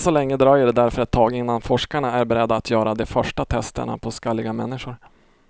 Än så länge dröjer det därför ett tag innan forskarna är beredda att göra de första testerna på skalliga människor.